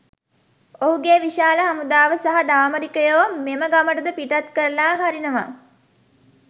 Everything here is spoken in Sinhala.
ඔහුගෙ විශාල හමුදාව සහ දාමරිකයො මෙම ගමටද පිටත් කරලාහරිනවා.